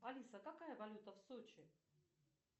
алиса какая валюта в сочи